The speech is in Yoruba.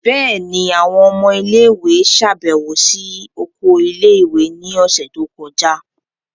Bẹẹni, awọn ọmọ ile-iwe ṣabẹwo si oko ile-iwe ni ọsẹ to kọja.